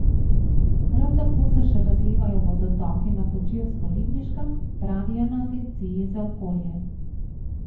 Prav tako se še razlivajo vodotoki na Kočevsko Ribniškem, pravijo na agenciji za okolje.